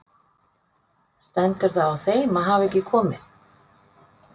Stendur það á þeim að hafa ekki komið?